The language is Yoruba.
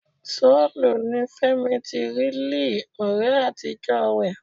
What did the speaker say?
Seoul ni Fẹ́mi ti rí Lee, ọ̀rẹ́ àtijọ́ rẹ̀.